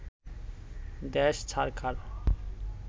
দেশ ছারখার